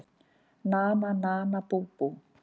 Nana nana bú bú!